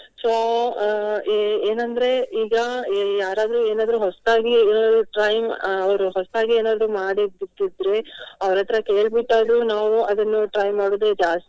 So ಅಹ್ ಏ~ ಏನಂದ್ರೆ ಈಗ ಯಾರಾದ್ರೂ ಏನಾದ್ರು ಹೊಸ್ತಾಗಿ ಅಹ್ try ಅಹ್ ಅವರು ಹೊಸ್ತಾಗಿ ಏನಾದ್ರು ಮಾಡಿದ್ದಿಟ್ಟಿದ್ರೆ ಅವರತ್ರ ಕೆಲ್ಬಿಟ್ಟಾದ್ರು ನಾವು ಅದನ್ನು try ಮಾಡುದೇ ಜಾಸ್ತಿ.